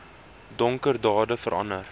donker dade verander